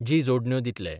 जी जोडण्यो दितले.